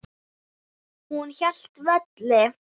Hún hélt velli.